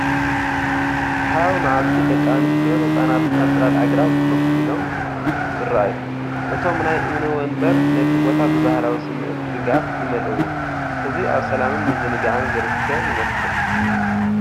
ጸሓያዊ መዓልቲ፡ ደቂ ኣንስትዮን ህጻናትን ኣብ ጽላል ኣግራብ ኮፍ ኢሎም ይረኣዩ። እቶም ናይ እምኒ መንበር ነቲ ቦታ ብባህላዊ ስምዒት ርግኣት ይመልእዎ፤ ህዝቢ ኣብ ሰላምን ምዝንጋዕን ዝርከብ ይመስል።